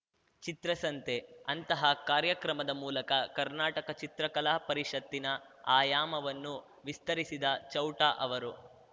ಚಿತ್ರಸಂತೆ ಅಂತಹ ಕಾರ್ಯಕ್ರಮದ ಮೂಲಕ ಕರ್ನಾಟಕ ಚಿತ್ರಕಲಾ ಪರಿಷತ್ತಿನ ಆಯಾಮವನ್ನು ವಿಸ್ತರಿಸಿದ ಚೌಟ ಅವರು